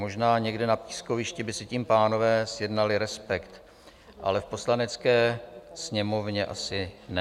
Možná někde na pískovišti by si tím pánové zjednali respekt, ale v Poslanecké sněmovně asi ne.